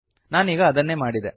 ನಾನೀಗ ಅದನ್ನೇ ಮಾಡಿದೆ